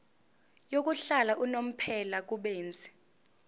yokuhlala unomphela kubenzi